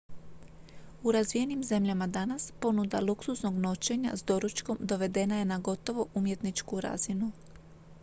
u razvijenim zemljama danas ponuda luksuznog noćenja s doručkom dovedena je na gotovo umjetničku razinu